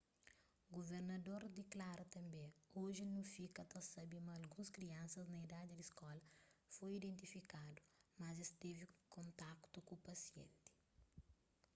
guvernador diklara tanbê oji nu fika ta sabe ma alguns kriansas na idadi di skola foi identifikadu ma es tevi kontaktu ku pasienti